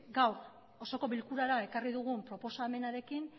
gaur osoko bilkurara ekarri dugun proposamenarekin